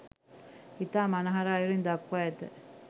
ඉතා මනහර අයුරින් දක්වා ඇත.